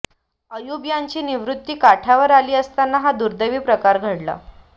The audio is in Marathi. अयुब यांची निवृत्ती काठावर आली असताना हा दुर्दैवी प्रकार घडला